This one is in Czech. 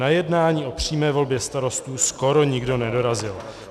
"Na jednání o přímé volbě starostů skoro nikdo nedorazil.